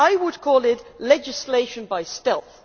I would call it legislation by stealth.